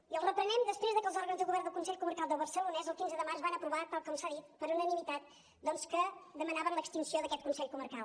i el reprenem després que els òrgans de govern del consell comarcal del barcelonès el quinze de març van aprovar tal com s’ha dit per unanimitat doncs que demanaven l’extinció d’aquest consell comarcal